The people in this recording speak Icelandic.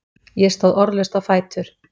Ég stóð orðlaust á fætur.